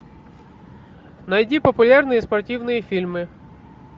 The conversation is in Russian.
найди популярные спортивные фильмы